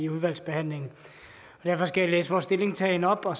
udvalgsbehandlingen derfor skal jeg læse vores stillingtagen op og